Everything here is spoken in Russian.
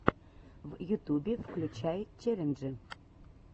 в ютубе включай челленджи